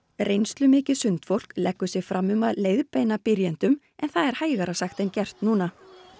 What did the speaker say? reynslumikið sundfólk leggur sig fram um að leiðbeina byrjendum en það er hægara sagt en gert núna